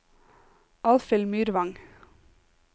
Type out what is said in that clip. Alfhild Myrvang